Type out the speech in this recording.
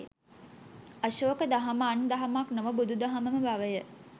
අශෝක දහම අන් දහමක් නොව බුදු දහමම බවය